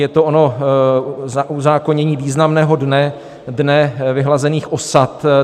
Je to ono uzákonění významného dne, Dne vyhlazených osad.